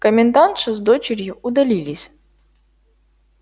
комендантша с дочерью удалились